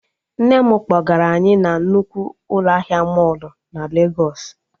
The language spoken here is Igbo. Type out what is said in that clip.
Nne m kpọgara anyị na nnukwu ụlọ ahịa mọlụ na Legos